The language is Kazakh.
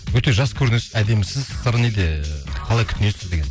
өте жас көрінесіз әдемісіз сыры неде қалай күтінесіз деген